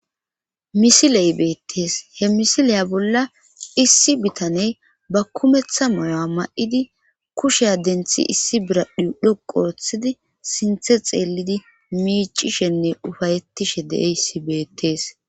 misiley beettees he misileya bolla issi bitane ba kumeththa moyo7a ma7idi kushea denthi issi biradhu dhoqu ooththidi sinthe xeelidi miicishenne ufayettishe deeyssi beettees